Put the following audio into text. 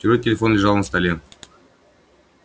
чужой телефон лежал на столе